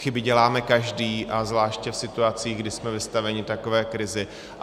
Chyby děláme každý a zvláště v situacích, kdy jsme vystaveni takové krizi.